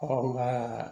Ɔ nka